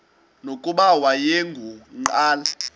nokuba wayengu nqal